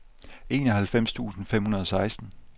enoghalvfems tusind fem hundrede og seksten